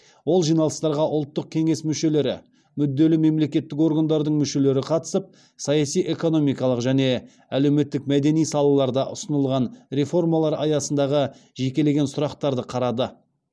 ол жиналыстарға ұлттық кеңес мүшелері мүдделі мемлекеттік органдардың мүшелері қатысып саяси экономикалық және әлеуметтік мәдени салаларда ұсынылған реформалар аясындағы жекелеген сұрақтарды қарады